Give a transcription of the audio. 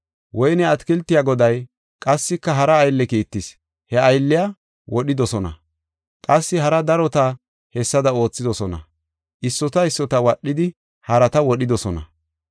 Woyne atakiltiya goday qassika hara aylle kiittis. He aylliya wodhidosona, qassi hara darota hessada oothidosona, issota issota wadhidi, harata wodhidosona.